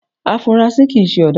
Afunrasí kìí se ọ̀daràn